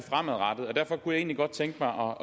herre